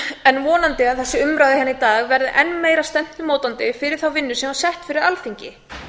en vonandi ef þessi umræða hérna í dag verður enn meira stefnumótandi fyrir þá vinnu sem var sett fyrir alþingi